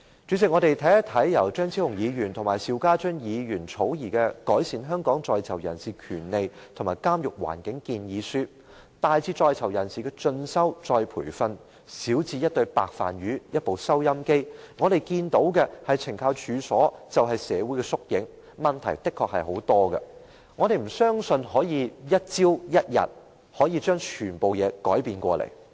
主席，我們看看由張超雄議員和邵家臻議員草擬的"改善香港在囚人士權利及監獄環境建議書"，大至在囚人士的進修、再培訓，小至一對"白飯魚"、一部收音機，我們看到的是懲教署其實是社會的縮影，當中的確有很多問題，我們亦不相信可以一朝一日便把所有事情改變。